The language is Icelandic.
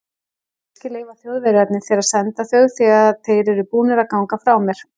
Kannske leyfa Þjóðverjarnir þér að senda þau þegar þeir eru búnir að ganga frá mér.